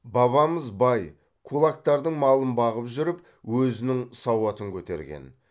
бабамыз бай кулактардың малын бағып жүріп өзінің сауатын көтерген